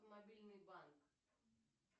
мобильный банк